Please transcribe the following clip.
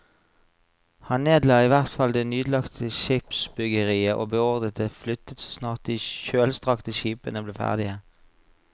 Han nedla i hvert fall det nyanlagte skipsbyggeriet og beordret det flyttet så snart de kjølstrakte skipene ble ferdige.